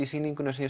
sýningunni